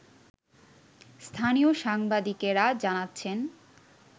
স্থানীয় সাংবাদিকেরা জানাচ্ছেন